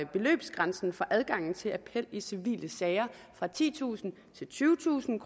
beløbsgrænsen for adgangen til appel i civile sager fra titusind til tyvetusind